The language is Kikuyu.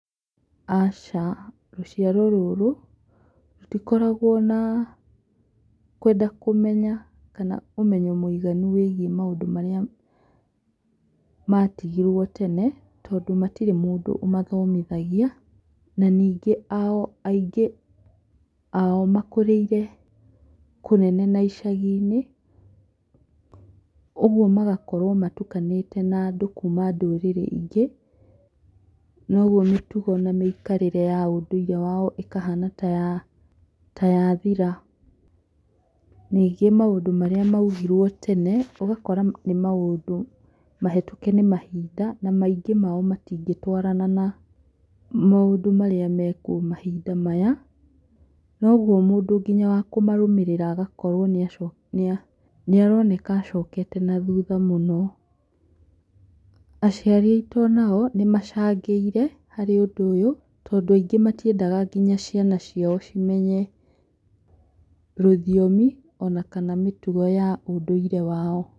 Aca rũciaro rũrũ rũtikoragwo na kwenda kũmenya kana ũmenyo mũiganu wĩgie maũndũ marĩa matigirwo tene tondũ matirĩ mũndũ ũmathomithagia na ningĩ ao aingĩ ao makũrĩire kũnene na icagi-inĩ, ũguo magakorwo matukanĩte na andũ a ndũrĩrĩ ingĩ noguo mĩtugo na mĩikarĩre ya ũndũire wao ĩkahana ya thira, ningĩ maũndũ marĩa maugirwo tene ũgakora nĩ maũndũ mahetũke nĩ mahinda na maingĩ mamo matingĩtwarana na maũndũ marĩa marĩkuo mahinda maya noguo mũndũ nginya wa kũmarũmĩrĩra agakorwo nĩa nĩaroneka acokete na thutha mũno, aciari aitũ nao nĩmacangĩire harĩ ũndũ ũyũ tondũ aingĩ ao matiendaga nginya ciana cia cimenye rũthiomi ona kana mĩtugo ya ũndũire wao